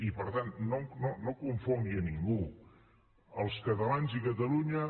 i per tant no confongui a ningú els catalans i catalunya